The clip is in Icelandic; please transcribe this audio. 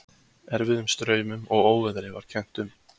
Erfiðum straumum og óveðri var kennt um.